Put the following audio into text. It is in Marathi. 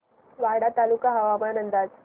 वाडा तालुका हवामान अंदाज